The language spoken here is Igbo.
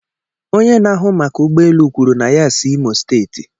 Onye na-ahụ maka ụgbọ elu kwuru na ya si Imosteeti